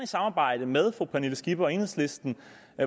samarbejde med fru pernille skipper og enhedslisten